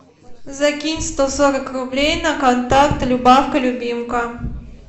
закинь сто сорок рублей на контакт любавка любимка